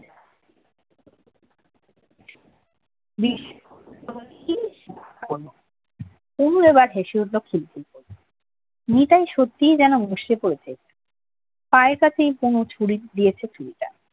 বিশে অনু এবার হেসে উঠল খিলখিল করে নিতাই সত্যিই যেন মুসড়ে পড়েছে আইপাতেই কুমু দিয়েছে ছুরিটা